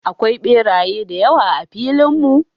Akwai beraye da yawa a filin mu.